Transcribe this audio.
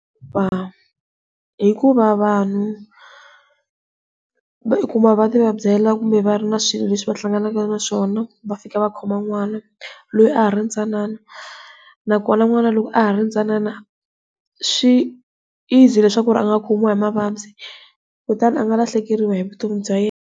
Hikuva vanhu vo yi kuma va ti vabyela kumbe va ri na swilo leswi va hlanganaka na swona va fika va khoma n'wana loyi a ha ri ntsanana, loko na n'wana loko a ha ri ntsanana swi easy leswaku a nga khumiwa hi mavabyi kutani a nga lahlekeriwe hi vutomi bya yena.